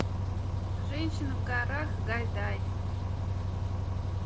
женщина в горах гайдай